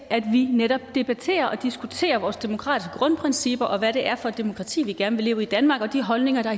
at vi netop debatterer og diskuterer vores demokratiske grundprincipper og hvad det er for et demokrati vi gerne vil leve i i danmark og de holdninger der